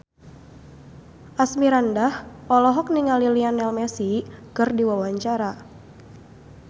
Asmirandah olohok ningali Lionel Messi keur diwawancara